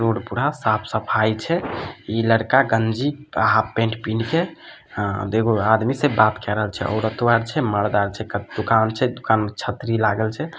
Road पूरा साफ़-सफाई छै ई लड़का गंजी हाफ पेंट पिन्ह के अ देखो आदमी से बात के रहल छै औरतों आर छै मर्दो आर छै दुकान छै दुकान में छतरी लागल छै।